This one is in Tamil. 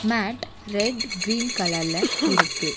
மேட் ரெட் கிரீன் கலர்ல இருக்கு.